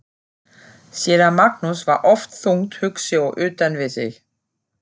Séra Magnús var oft þungt hugsi og utan við sig.